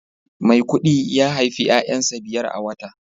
maikudi ya haifi 'ya'yansa biyar a wata